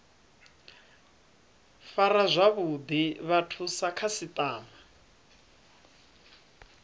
fara zwavhuḓi vhathu sa khasiṱama